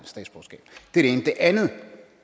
ene det andet er at